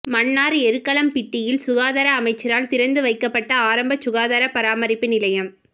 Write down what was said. மன்னார் எருக்களம்பிட்டியில் சுகாதார அமைச்சரால் திறந்து வைக்கப்பட்ட ஆரம்ப சுகாதார பராமரிப்பு நிலையம்